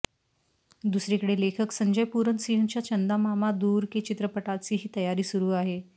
दुसरीकडे लेखक संजय पूरन सिंहच्या चंदा मामा दूर के चित्रपटाचीही तयारी सुरू आहे